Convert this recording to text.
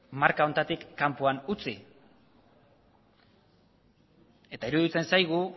marka honetatik kanpoan utzi eta iruditzen zaigu